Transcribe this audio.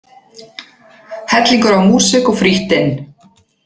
Hellingur af músík og frítt inn